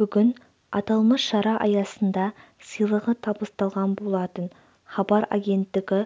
бүгін аталмыш шара аясында сыйлығы табысталған болатын хабар агенттігі